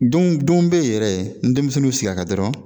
Dun dun be yen yɛrɛ ni denmisɛnninw y'u sig'a kan dɔrɔn